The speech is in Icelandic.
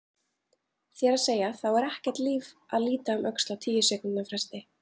Þér að segja, þá er ekkert líf að líta um öxl á tíu sekúndna fresti.